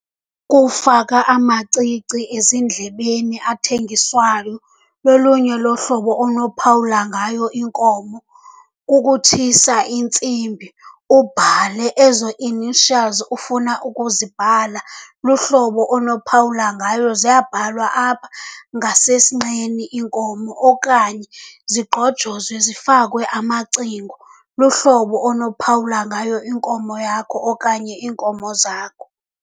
Kufaka amacici ezindlebeni athengiswayo, lolunye lohlobo onophawula ngayo iinkomo. Kukutshisa intsimbi ubhale ezo initials ufuna ukuzibhala, luhlobo onophawula ngayo. Ziyabhalwa apha ngasesinqeni iinkomo okanye zigqojozwe zifakwe amacingo. Luhlobo onophawula ngayo inkomo yakho okanye iinkomo zakho.